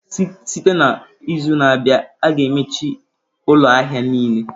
Site n'izu na-abịa, a ga-emechi ụlọ ahịa niile.